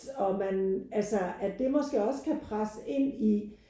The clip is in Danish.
Og man altså at det måske også kan presse ind i